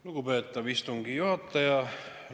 Lugupeetav istungi juhataja!